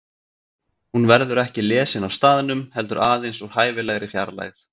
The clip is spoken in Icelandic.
Hún verður ekki lesin á staðnum heldur aðeins úr hæfilegri fjarlægð.